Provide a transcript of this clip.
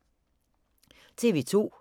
TV 2